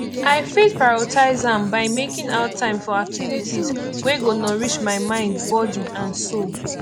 i fit prioritize am by making out time for activities wey go nourish my mind body and soul